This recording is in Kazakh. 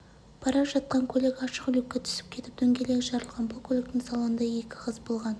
бара жатқан көлігі ашық люкке түсіп кетіп дөңгелегі жарылған бұл көліктің салонында екі қыз болған